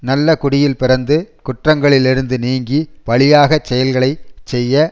நல்ல குடியில் பிறந்து குற்றங்களிலிருந்து நீங்கி பழியாச் செயல்களை செய்ய